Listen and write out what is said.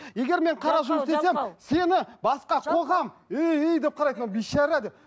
егер мен қара жұмыс істесем сені басқа қоғам өй өй деп қарайды мынау бейшара деп